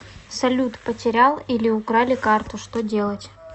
салют потерял или украли карту что делать